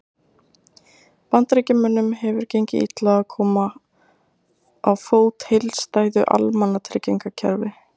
Bandaríkjamönnum hefur gengið illa að koma á fót heildstæðu almannatryggingakerfi.